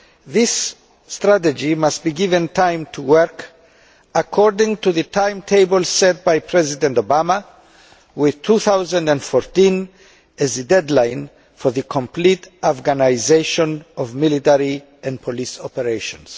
This strategy must be given time to work according to the timetable set by President Obama, with 2014 as the deadline for the complete Afghanisation of military and police operations.